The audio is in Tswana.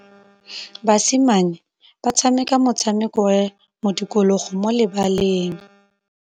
Basimane ba tshameka motshameko wa modikologô mo lebaleng.